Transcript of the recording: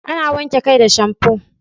Ana wanke kai da shamfo